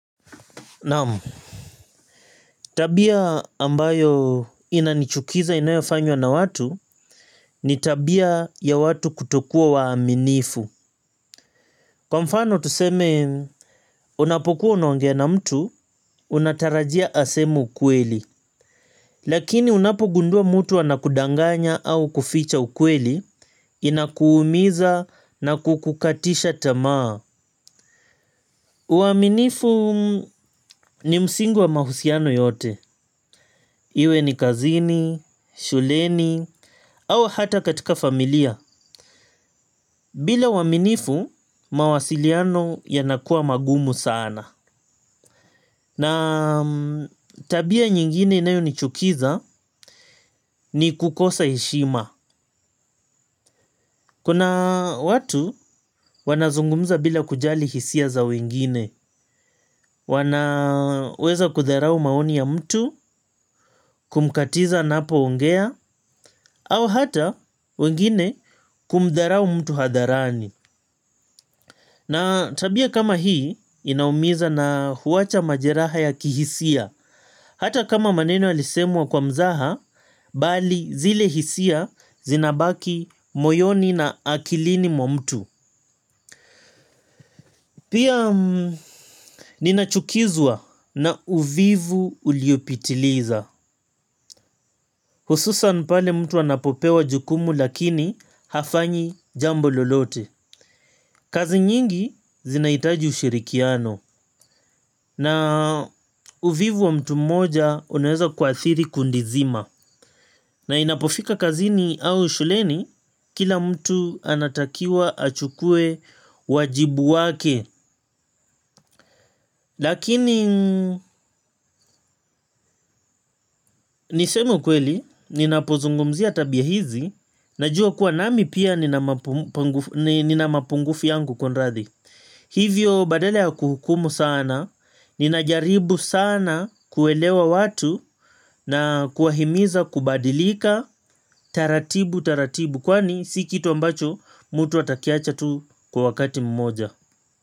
Naam. Tabia ambayo inanichukiza inayofanywa na watu ni tabia ya watu kutokuwa waaminifu. Kwa mfano tuseme unapokuwa unaongea na mtu unatarajia aseme ukweli. Lakini unapogundua mtu anakudanganya au kuficha ukweli inakuumiza na kukukatisha tamaa. Uaminifu ni msingi wa mahusiano yote. Iwe ni kazini, shuleni au hata katika familia. Bila uaminifu mawasiliano yanakua magumu sana. Na tabia nyingine inayonichukiza ni kukosa heshima. Kuna watu wanazungumza bila kujali hisia za wengine. Wanaweza kutharau maoni ya mtu kumkatiza anapoongea au hata wengine kumdharau mtu hadharani. Na tabia kama hii inaumiza na huacha majeraha ya kihisia. Hata kama maneno yalisemwa kwa mzaha bali zile hisia zinabaki moyoni na akilini mwa mtu. Pia ninachukizwa na uvivu uliopitiliza. Hususan pale mtu anapopewa jukumu lakini hafanyi jambo lolote. Kazi nyingi zinahitaji ushirikiano na uvivu wa mtu mmoja unaweza kuathiri kundi zima na inapofika kazini au shuleni kila mtu anatakiwa achukue wajibu wake. Lakini niseme ukweli ninapozungumzia tabia hizi najua kuwa nami pia nina mapungufu yangu kunrathi. Hivyo badala ya kuhukumu sana ninajaribu sana kuelewa watu na kuwahimiza kubadilika taratibu taratibu. Kwani si kitu ambacho mtu atakiacha tu kwa wakati mmoja.